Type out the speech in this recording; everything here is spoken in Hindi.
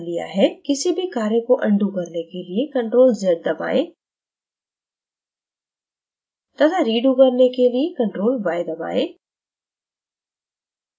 किसी भी कार्य को अनto करने के लिए ctrl + z दबाएं तथा रीto करने के लिए ctrl + yदबाएं